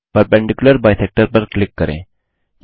perpendicular bisector लम्ब द्विभाजक पर क्लिक करें